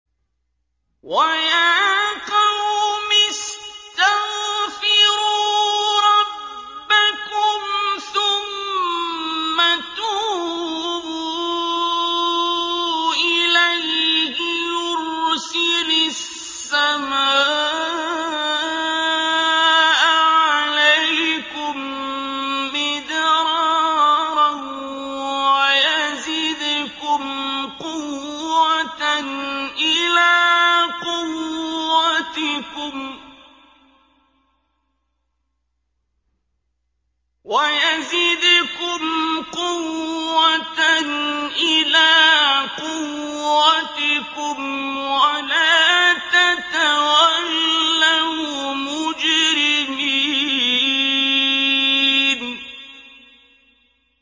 وَيَا قَوْمِ اسْتَغْفِرُوا رَبَّكُمْ ثُمَّ تُوبُوا إِلَيْهِ يُرْسِلِ السَّمَاءَ عَلَيْكُم مِّدْرَارًا وَيَزِدْكُمْ قُوَّةً إِلَىٰ قُوَّتِكُمْ وَلَا تَتَوَلَّوْا مُجْرِمِينَ